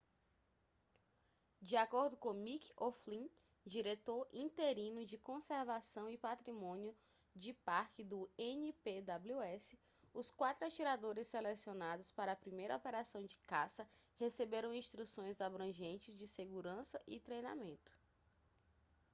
de acordo com mick o'flynn diretor interino de conservação e patrimônio de parque do npws os quatro atiradores selecionados para a primeira operação de caça receberam instruções abrangentes de segurança e treinamento